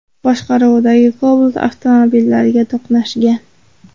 boshqaruvidagi Cobalt avtomobillariga to‘qnashgan.